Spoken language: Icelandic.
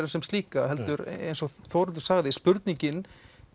sem slíka heldur eins og Þórhildur sagði spurningin